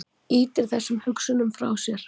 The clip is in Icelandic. Ýtir þessum hugsunum frá sér.